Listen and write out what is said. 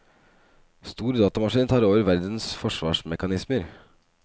Stor datamaskin tar over verdens forsvarsmekanismer.